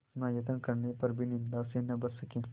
इतना यत्न करने पर भी निंदा से न बच सके